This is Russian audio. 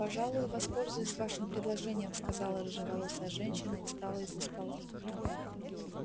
пожалуй воспользуюсь вашим предложением сказала рыжеволосая женщина и встала из-за стола